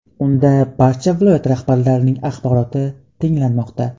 Unda barcha viloyat rahbarlarining axboroti tinglanmoqda.